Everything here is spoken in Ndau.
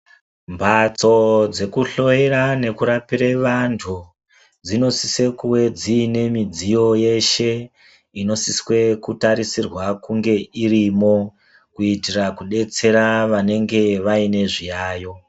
Mphatso dzekuhloyera, nekurapire vanthu, dzinosise kuwe dziine midziyo yeshe, inosiswe kutarisirwa kunge irimo, kuitira kudetsera vanenge vaine zviyayo.